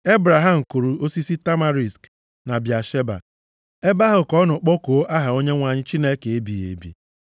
Ebraham kụrụ osisi tamarisk na Bịasheba. Ebe ahụ ka ọ nọ kpọkuo aha Onyenwe anyị, Chineke ebighị ebi.